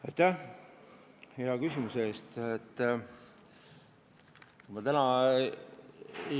Aitäh hea küsimuse eest!